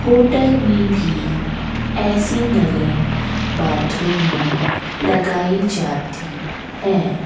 Hotel में भी ऐसी नलें बाथरूम में लगाई जाती हैं।